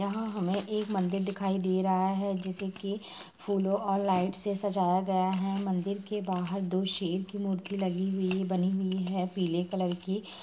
यहाँ हमे एक मंदिर दिखाई दे रहा है जिसे कि फूलों और लाइट से सजाया गया है। मंदिर के बाहर दो शेर की मूर्ति लगी हुई बनी हुई है पीले कलर की।